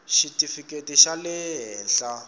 xitifikheti xa le henhla xa